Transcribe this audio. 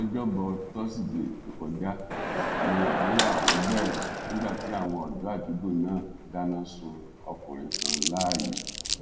lọjọbọ tosidee tó kọjá ní wàhálà ọhún bẹrẹ nígbà tí àwọn ọdọ àdúgbò náà dáná sun ọkùnrin kan láàyè